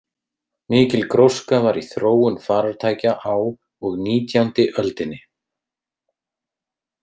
Mikil gróska var í þróun farartækja á og nítjándi öldinni.